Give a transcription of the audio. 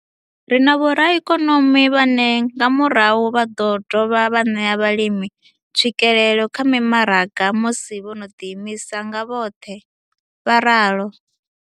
Ri na vhoraikonomi vhane nga murahu vha ḓo dovha vha ṋea vhalimi tswikelelo kha mimaraga musi vho no ḓiimisa nga vhoṱhe. vho ralo.